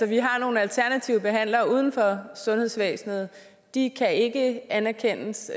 vi har nogle alternative behandlere uden for sundhedsvæsenet de kan ikke anerkendes